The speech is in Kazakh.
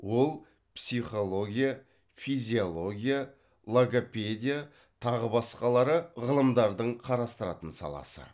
ол психология физиология логопедия тағы басқалары ғылымдардың қарастыратын саласы